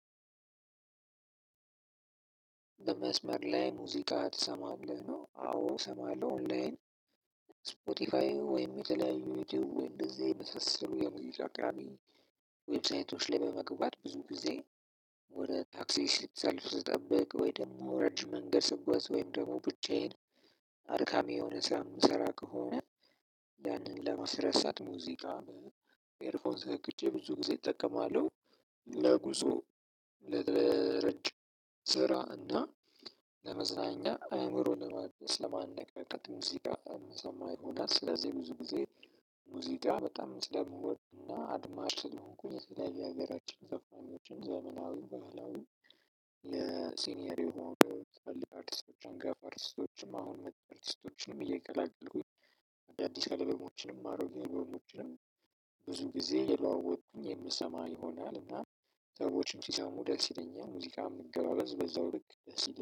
መስመር ላይ ሙዚቃ ትሰማለህ? ነው አዎ እሰማለሁ ኦንላይን። ስፖትፋይ ወይም የተለያዩ ዩትዩብ እንደዛ የመሳሰሉ የሙዚቃ ወብሳይቶች ላይ በመግባት ብዙ ጊዜ ወይ ታክሲ ሳልፍ ስጠብቅ ወይ ደግሞ ረጅም መንገድ ስጓዝ ወይም ደግሞ ብቻዬን አድካሚ የሆነ ስራ የምንሰራ ከሆነ ያንን ለማስረሳት ሙዚቃ ኤርፎን ሰክቼ ብዙ ጊዜ እጠቀማለሁ። ለጉዞ ለረጅም ስራ እና ለመዝናኛ አእምሮ ለማድረግ ለማነቃቃት ሙዚቃ የምሰማ ይሆናል። ስለዚህ ብዙ ጊዜ ሙዚቃ በጣም ስለምወድ እና አድማጭ ስለሆንኩኝ የተለያዩ የሀገራችን ዘፋኖችን ዘመናዊ ባህላዊ የሲኒየር የሆኑ አርቲስቶችን ጋፕ አርቲስቶንችም አሁን አርቲስቶችንም እየቀላቀሉኝ አዳዲስ አለበሞችንም አሮጌ አለበሞችንም ብዙ ጊዜ እየለዋወጥኩኝ የምሰማ ይሆናል። እና ሰዎችም ሲሰሙ ደስ ይለኛል። ሙዚቃ መገባበዝ በዛው ልክ ደስ ይለኛል።